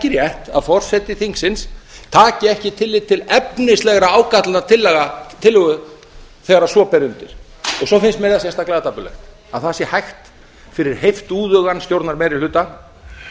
rétt að forseti þingsins taki ekki tillit til efnislegra ágalla tillögu þegar svo ber undir svo finnst mér það sérstaklega dapurlegt að það sé hægt fyrir heiftúðugan stjórnarmeirihluta